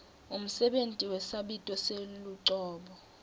umsebenti wesabito selucobo